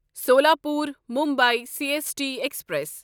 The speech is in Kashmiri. Solapur Mumbai C S T express